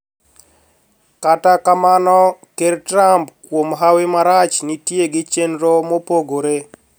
Kata kamano ker Trump kuom hawi marach nitie gi chenro mopogore